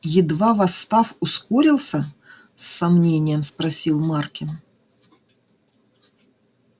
едва восстав ускорился с сомнением спросил маркин